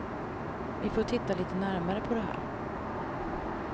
Vi får titta lite närmare på det här.